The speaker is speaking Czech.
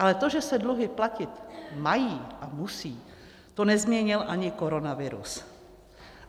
Ale to, že se dluhy platit mají a musí, to nezměnil ani koronavirus.